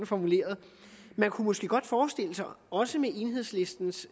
formuleret man kunne måske godt forestille sig at også med enhedslistens